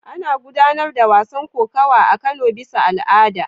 Ana gudanar da wasan kokawa a Kano bisa al'ada.